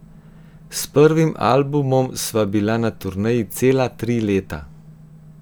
S prvim albumom sva bila na turneji cela tri leta.